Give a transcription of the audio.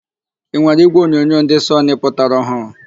Ị nwere ígwèonyonyo ndị Sọnị pụtara ọhụụ?